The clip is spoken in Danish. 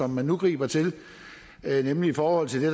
man nu griber til nemlig i forhold til det